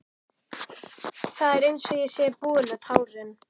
Það er einsog ég sé búin með tárin.